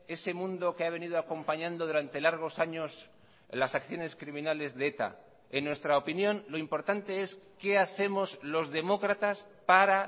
ese mundo que ha venido acompañando durante largos años las acciones criminales de eta en nuestra opinión lo importante es qué hacemos los demócratas para